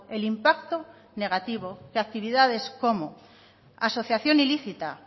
el impacto negativo que actividades como asociación ilícita